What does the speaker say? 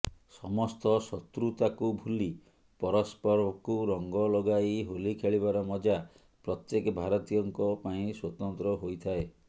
ସମସ୍ତ ଶତ୍ରୁତାକୁ ଭୁଲି ପରସ୍ପରକୁ ରଙ୍ଗ ଲଗାଇ ହୋଲି ଖେଳିବାର ମଜା ପ୍ରତ୍ୟେକ ଭାରତୀୟଙ୍କ ପାଇଁ ସ୍ବତନ୍ତ୍ର ହୋଇଥାଏ